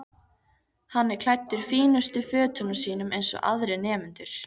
Hann er klæddur fínustu fötunum sínum eins og aðrir nemendur.